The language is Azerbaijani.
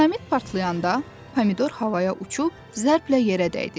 Dinamit partlayanda Pomidor havaya uçub zərblə yerə dəydi.